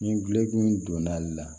Ni gulɔmin donna ale la